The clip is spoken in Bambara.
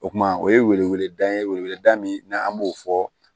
O kuma o ye weleweleda ye weleweleda min n'an an b'o fɔ